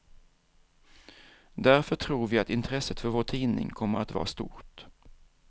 Därför tror vi att intresset för vår tidning kommer att vara stort.